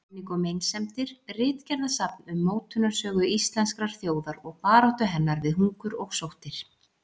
Menning og meinsemdir: Ritgerðasafn um mótunarsögu íslenskrar þjóðar og baráttu hennar við hungur og sóttir.